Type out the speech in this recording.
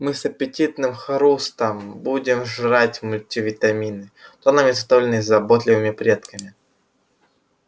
мы с аппетитным хрустом будем жрать мультивитамины тоннами заготовленные заботливыми предками